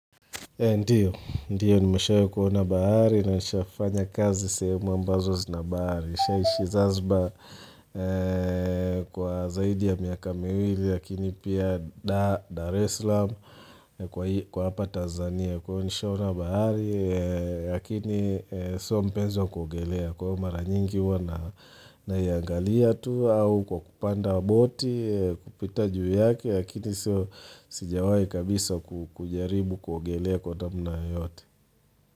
Ndiyo, ndiyo nimeshai kuona bahari na nisha fanya kazi sehemu ambazo zina bahari. Nisha ishi zanziba kwa zaidi ya miaka miwili, lakini pia Dar Dar es Salaam kwa hapa Tanzania. Kwa hiyo nisha ona bahari, lakini sio mpenzi wa kuogelea. Kwa hiyo mara nyingi huwa naiangalia tuu, au kwa kupanda boti, kupita juu yake, Lakini siyo sijawai kabisa kujaribu kuogelea kwa namna yoyote.